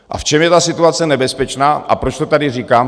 A v čem je ta situace nebezpečná a proč to tady říkám?